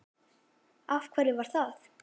Af hverju var það?